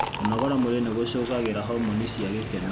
Kũnogora mwĩrĩ nĩ gũcogagira homoni cia gĩkeno.